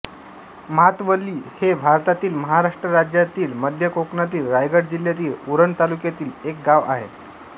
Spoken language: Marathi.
म्हातवली हे भारतातील महाराष्ट्र राज्यातील मध्य कोकणातील रायगड जिल्ह्यातील उरण तालुक्यातील एक गाव आहे